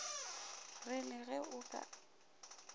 re le ge o ka